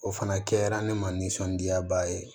O fana kɛra ne ma nisɔndiyaba ye